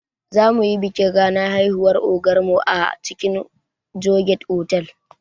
Zamuyi bikin ranar haihuwar ogar mu a cikin joygate otal